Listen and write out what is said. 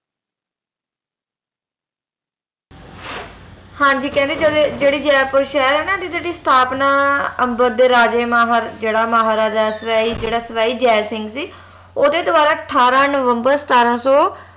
ਹਾਂਜੀ ਕਹਿੰਦੇ ਜਿਹੜੇ ਜਿਹੜਾ ਜੈਪੁਰ ਸ਼ਹਿਰ ਐ ਨਾ ਇਹਦੀ ਜਿਹੜੀ ਸਥਾਪਨਾ ਅੰਬਰ ਦੇ ਰਾਜੇ ਮਹਾ ਮਹਾਰਾਜਾ ਜੇਹੜਾ ਸਵਾਈ ਜਿਹੜਾ ਸਵਾਈ ਜੈ ਸਿੰਘ ਸੀ ਓਹਦੇ ਦ੍ਵਾਰਾ ਅਠਾਰਾਂ ਨਵੰਬਰ ਸਤਾਰਾਂ ਸੋ